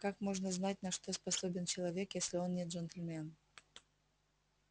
как можно знать на что способен человек если он не джентльмен